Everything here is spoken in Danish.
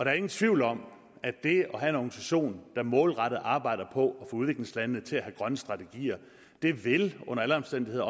er ingen tvivl om at det at have en organisation der målrettet arbejder på at få udviklingslandene til at have grønne strategier under alle omstændigheder